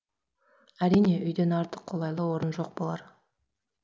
әрине үйден артық қолайлы орын жоқ болар